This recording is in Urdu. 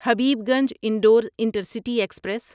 Habibganj Indore intercity express